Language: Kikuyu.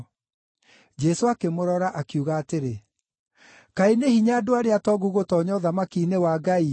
Jesũ akĩmũrora, akiuga atĩrĩ, “Kaĩ nĩ hinya andũ arĩa atongu gũtoonya ũthamaki-inĩ wa Ngai-ĩ!